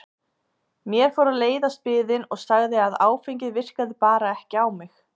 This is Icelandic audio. Mér fór að leiðast biðin og sagði að áfengið virkaði bara ekki á mig.